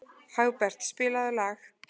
Hagbert, spilaðu lag.